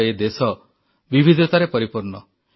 ଆମର ଏ ଦେଶ ବିବିଧତାରେ ପରିପୂର୍ଣ୍ଣ